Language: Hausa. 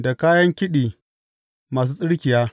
Da kayan kiɗi masu tsirkiya.